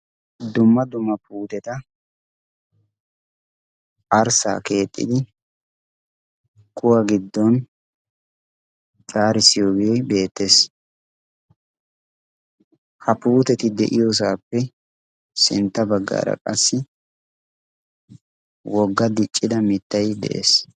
dumma dumma puuteta arssaa keexxidi kuwa giddon xaari siyoowii beettees ha puuteti de7iyoosaappe sintta baggaara qassi wogga diccida mittai de7ees